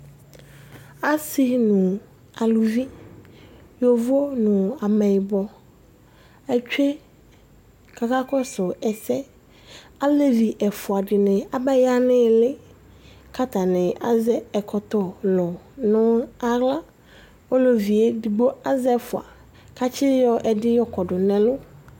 Asi nu aluvi yovo nu ameyibɔ atsue ku akakɔsu ɛsɛ Alevi ɛfua dini abaya nu iili ku atani azɛ ɛkɔtɔ lu nu aɣla Ɔlevi edigbo azɛ ɛfua ku atsiyɔ ɛdi yɔkɔ du nu ɛlu